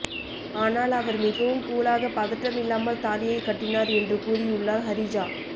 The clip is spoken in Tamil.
ஆனால் அவர்மிகவும் கூலாக பதட்டம் இல்லாமல் தாலியை கட்டினார் என்று கூறியுள்ளார் ஹரிஜா